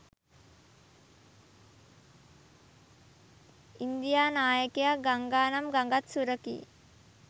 India නායකයා ගංගානම් ගඟත් සුරකී